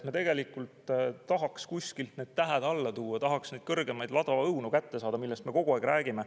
Me tegelikult tahaks kuskilt need tähed alla tuua, tahaks neid kõrgemaid ladvaõunu kätte saada, millest me kogu aeg räägime.